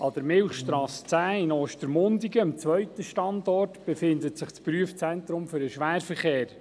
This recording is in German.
An der Milchstrasse 10 in Ostermundigen, dem zweiten Standort, befindet sich das Prüfungszentrum für den Schwerverkehr.